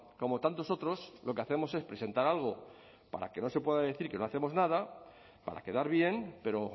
como tantos otros lo que hacemos es presentar algo para que no se pueda decir que no hacemos nada para quedar bien pero